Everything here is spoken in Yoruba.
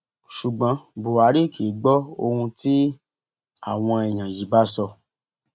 ṣùgbọn buhari kì í gbọ ohun tí àwọn èèyàn yìí bá sọ